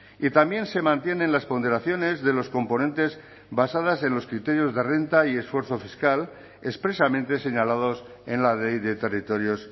y también se mantienen las ponderaciones de los componentes basadas en los criterios de renta y esfuerzo fiscal expresamente señalados en la ley de territorios